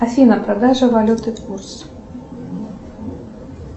афина продажа валюты курс